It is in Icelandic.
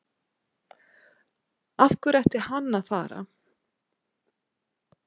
Af hverju ætti hann að fara?